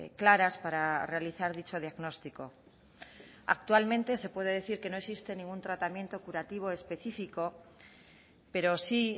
claras para realizar dicho diagnóstico actualmente se puede decir que no existe ningún tratamiento curativo específico pero sí